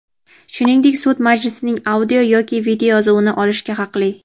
shuningdek sud majlisining audio- yoki videoyozuvini olishga haqli.